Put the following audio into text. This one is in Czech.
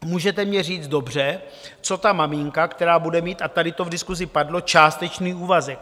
Můžete mně říct: Dobře, co ta maminka, která bude mít - a tady to v diskusi padlo - částečný úvazek?